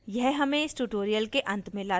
यह हमें इस tutorial के अंत में लाता है